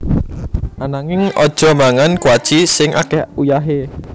Ananging aja mangan kuaci sing ake uyahe